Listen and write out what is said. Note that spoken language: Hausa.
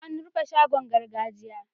An rufe shagon gargajiya.